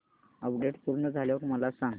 update पूर्ण झाल्यावर मला सांग